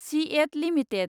CEAT limited